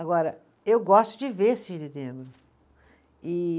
Agora, eu gosto de ver Cisne Negro. E